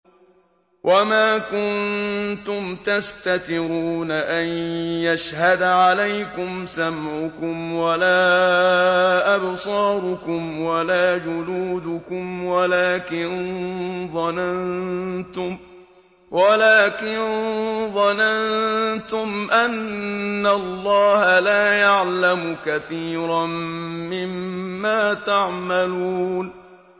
وَمَا كُنتُمْ تَسْتَتِرُونَ أَن يَشْهَدَ عَلَيْكُمْ سَمْعُكُمْ وَلَا أَبْصَارُكُمْ وَلَا جُلُودُكُمْ وَلَٰكِن ظَنَنتُمْ أَنَّ اللَّهَ لَا يَعْلَمُ كَثِيرًا مِّمَّا تَعْمَلُونَ